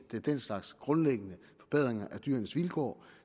det er den slags grundlæggende forbedringer af dyrenes vilkår